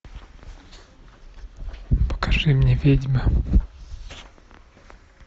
покажи мне ведьмы